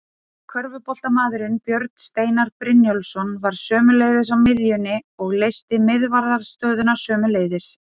Körfuboltamaðurinn Björn Steinar Brynjólfsson var sömuleiðis á miðjunni og leysti miðvarðarstöðuna sömuleiðis.